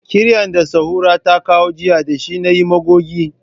Kiryan da Sahura ta kawo jiya da shi na yi magogi.